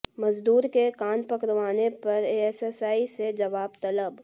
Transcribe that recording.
मजदूर के कान पकड़वाने पर एएसआई से जवाब तलब